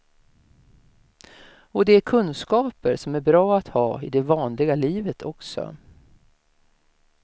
Och det är kunskaper som är bra att ha i det vanliga livet också.